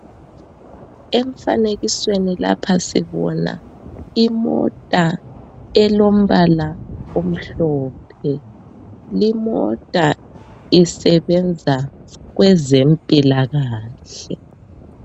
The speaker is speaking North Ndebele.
Emfanekisweni lapha sibona imota elombala omhlophe limota isebenza kwezempilakahle.